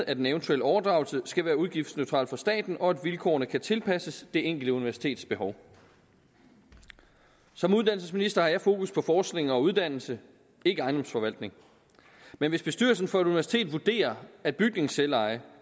at en eventuel overdragelse skal være udgiftsneutral for staten og at vilkårene kan tilpasses det enkelte universitets behov som uddannelsesminister har jeg fokus på forskning og uddannelse ikke ejendomsforvaltning men hvis bestyrelsen for et universitet vurderer at bygningsselveje